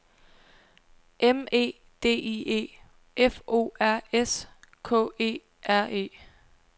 M E D I E F O R S K E R E